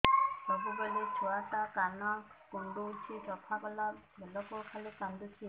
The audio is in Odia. ସବୁବେଳେ ଛୁଆ ଟା କାନ କୁଣ୍ଡଉଚି ସଫା କଲା ବେଳକୁ ଖାଲି କାନ୍ଦୁଚି